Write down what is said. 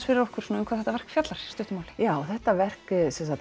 fyrir okkur um hvað þetta verk fjallar í stuttu máli já þetta verk